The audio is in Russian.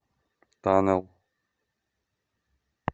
танел